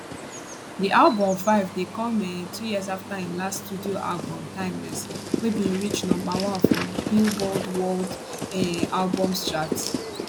di album 5ive dey come um two years afta im last studio album timeless wey bin reach number one for billboard world um albums chart